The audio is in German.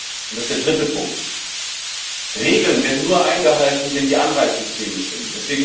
Aber, und das ist der dritte Punkt Regeln werden nur eingehalten, wenn die Anreizsysteme stimmen.